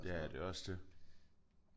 Ja ja det er jo også det